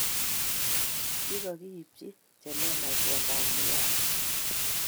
Kikokiibchi che lelach kwondap Liwazo